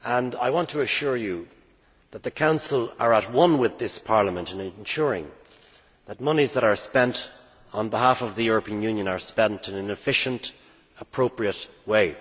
I want to assure you that the Council is at one with this Parliament in ensuring that monies that are spent on behalf of the European Union are spent in an efficient, appropriate way.